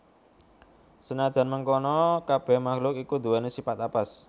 Senadyan mengkono kabèh makhuk iku nduwèni sipat apes